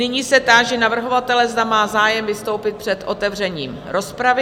Nyní se táži navrhovatele, zda má zájem vystoupit před otevřením rozpravy?